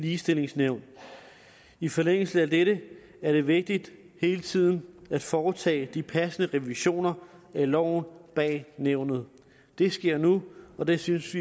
ligestillingsnævn i forlængelse af dette er det vigtigt hele tiden at foretage de passende revisioner af loven bag nævnet det sker nu og det synes